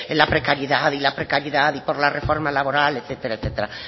la precariedad y la precariedad y por la reforma laboral etcétera